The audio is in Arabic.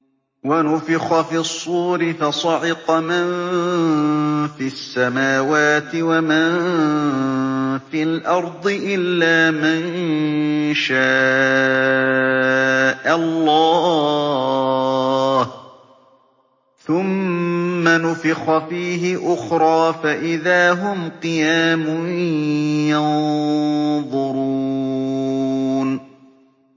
وَنُفِخَ فِي الصُّورِ فَصَعِقَ مَن فِي السَّمَاوَاتِ وَمَن فِي الْأَرْضِ إِلَّا مَن شَاءَ اللَّهُ ۖ ثُمَّ نُفِخَ فِيهِ أُخْرَىٰ فَإِذَا هُمْ قِيَامٌ يَنظُرُونَ